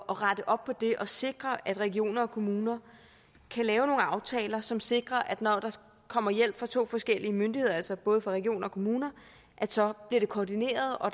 rette op på det og sikre at regioner og kommuner kan lave nogle aftaler som sikrer at når der kommer hjælp fra to forskellige myndigheder altså både fra regioner og kommuner så bliver det koordineret og